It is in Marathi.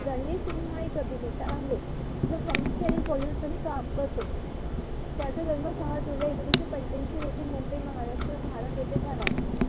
रणवीर सिंग हा एक अभिनेता आहे जो प्रामुख्याने bollywood मध्ये काम करतो त्याचा जन्म सहा जुलै एकोणविशे पंचाऐशी रोजी मुंबई महाराष्ट्र भारत इथे झाला.